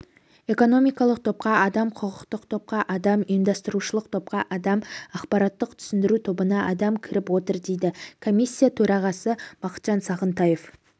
экономикалық топқа адам құқықтық топқа адам ұйымдастырушылық топқа адам ақпараттық түсіндіру тобына адам кіріп отыр дейді комиссия төрағасы бақытжан сағынтаев